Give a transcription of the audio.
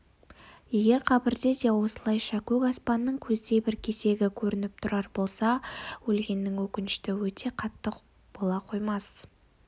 егер қабірінде де осылайша көк аспанның көздей бір кесегі көрініп тұрар болса өлгеннің өкініші өте қатты бола қоймас